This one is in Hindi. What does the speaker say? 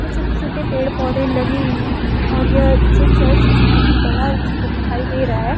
छोटे-छोटे पेड़-पौधे लगे हुए हैं और ये जो चर्च है बोहोत ही बड़ा हमको दिखाई दे रहा है।